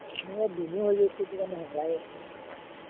আমাৰ ইয়াত